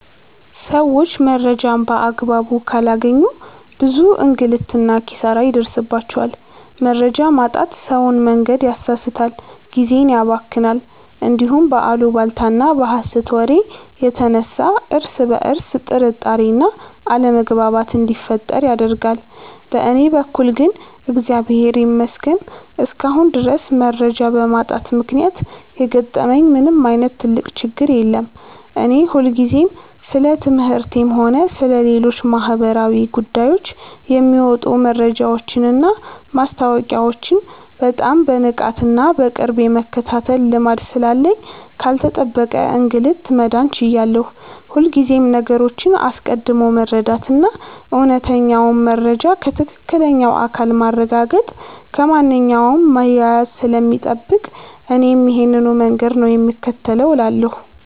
ሰዎች መረጃን በአግባቡ ካላገኙ ብዙ እንግልትና ኪሳራ ይደርስባቸዋል። መረጃ ማጣት ሰውን መንገድ ያሳስታል፣ ጊዜን ያባክናል፣ እንዲሁም በአሉባልታና በሐሰት ወሬ የተነሳ እርስ በርስ ጥርጣሬና አለመግባባት እንዲፈጠር ያደርጋል። በእኔ በኩል ግን እግዚአብሔር ይመስገን እስካሁን ድረስ መረጃ በማጣት ምክንያት የገጠመኝ ምንም ዓይነት ትልቅ ችግር የለም። እኔ ሁልጊዜም ስለ ትምህርቴም ሆነ ስለ ሌሎች ማኅበራዊ ጉዳዮች የሚወጡ መረጃዎችንና ማስታወቂያዎችን በጣም በንቃትና በቅርብ የመከታተል ልማድ ስላለኝ ካልተጠበቀ እንግልት መዳን ችያለሁ። ሁልጊዜም ነገሮችን አስቀድሞ መረዳትና እውነተኛውን መረጃ ከትክክለኛው አካል ማረጋገጥ ከማንኛውም መያያዝ ስለሚጠብቅ እኔም ይሄንኑ መንገድ ነው የምከተለው እላለሁ።